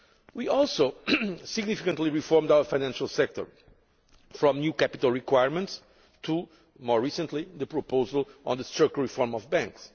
We also significantly reformed our financial sector, from new capital requirements to, more recently, the proposal on the structural reform of banks.